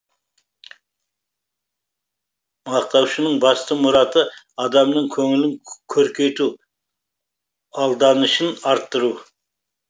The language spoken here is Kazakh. мақтаушының басты мұраты адамның көңілін көркейту алданышын арттыру